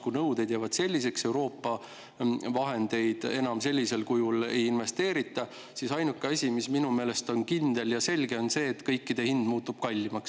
Kui nõuded jäävad selliseks, aga Euroopa vahendeid enam sellisel kujul ei investeerita, siis ainuke asi, mis minu meelest on kindel ja selge, on see, et kõikidele muutub hind kallimaks.